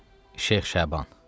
Şeyx Şaban.